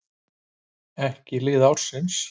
Ekki lið ársins: